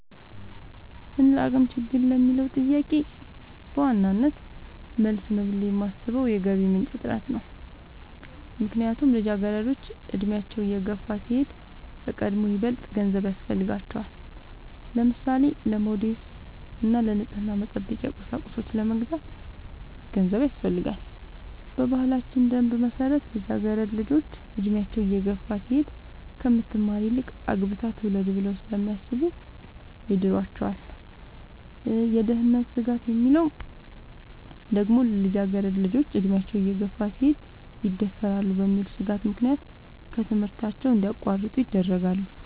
እንደአቅም ችግር ለሚለው ጥያቄ በዋናነት መልስ ነው ብሌ የማሥበው የገቢ ምንጭ እጥረት ነው። ምክንያቱም ልጃገረዶች አድሚያቸው እየገፋ ሲሄድ ከቀድሞው ይበልጥ ገንዘብ ያሥፈልጋቸዋል። ለምሳሌ:-ለሞዴስ እና ንፅህናን መጠበቂያ ቁሳቁሶች ለመግዛት ገንዘብ ያሥፈልጋል። በባህላችን ደንብ መሠረት ልጃገረድ ልጆች እድሚያቸው እየገፋ ሲሄድ ከምትማር ይልቅ አግብታ ትውለድ ብለው ስለሚያሥቡ ይድሯቸዋል። የደህንነት ስጋት የሚለው ደግሞ ልጃገረድ ልጆች አድሚያቸው እየገፋ ሲሄድ ይደፈራሉ በሚል ሥጋት ምክንያት ከትምህርታቸው እንዲያቋርጡ ይደረጋሉ።